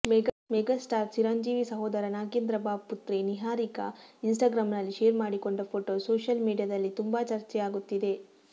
mega star Chiranjeevi ಸಹೋದರ ನಾಗೇಂದ್ರಬಾಬು ಪುತ್ರಿ ನಿಹಾರಿಕಾ ಇನ್ಸ್ಟಾಗ್ರಾಂನಲ್ಲಿ ಶೇರ್ ಮಾಡಿಕೊಂಡ ಫೋಟೋ ಸೋಷಿಯಲ್ ಮೀಡಿಯಾದಲ್ಲಿ ತುಂಬಾ ಚರ್ಚೆಯಾಗುತ್ತಿದೆ